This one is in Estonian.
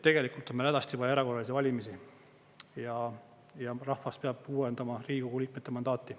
Tegelikult on meil hädasti vaja erakorralisi valimisi ja rahvas peab uuendama Riigikogu liikmete mandaati.